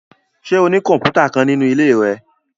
Ṣe o ni kọmputa kan ninu ile rẹ?